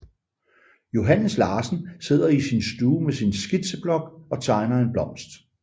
Johannes Larsen sidder i sin stue med sin skitseblok og tegner en blomst